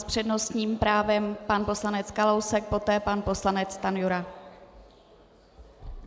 S přednostním právem pan poslanec Kalousek, poté pan poslanec Stanjura.